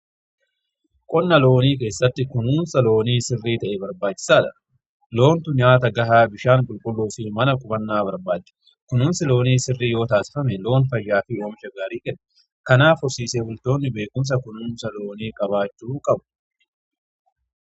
qonna loonii keessatti kunuunsa loonii sirrii ta'e barbaachisaadha loontu nyaata gahaa bishaan qulqulluufii mana qubannaa barbaada. kunuunsi loonii sirrii yoo taasifame loon fayyaa fii oomisha gaarii kennu. kanaaf horsiisee bultoonni beekumsa kunuunsa loonii qabaachuu qabu.